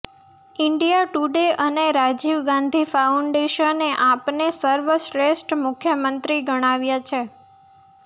India today અને રાજીવ ગાંધી ફાઉન્ડેશને આપને સર્વશ્રેષ્ઠ મુખ્યમંત્રી ગણાવ્યા છે